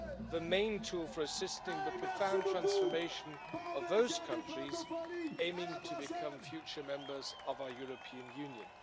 the main tool for assisting the profound transformation of those countries aiming to become future members of our European Union.